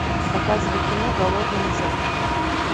показывай кино голодные зет